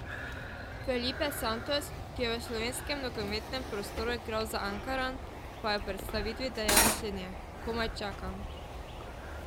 Felipe Santos, ki je v slovenskem nogometnem prostoru igral za Ankaran, pa je ob predstavitvi dejal naslednje: "Komaj čakam.